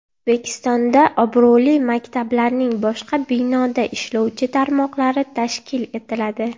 O‘zbekistonda obro‘li maktablarning boshqa binoda ishlovchi tarmoqlari tashkil etiladi.